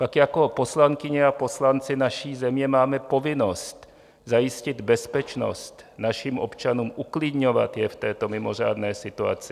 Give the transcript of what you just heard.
Pak jako poslankyně a poslanci naší země máme povinnost zajistit bezpečnost našim občanům, uklidňovat je v této mimořádné situaci.